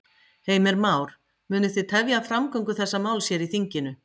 Heimir Már: Munu þið tefja framgöngu þessa máls hér í þinginu?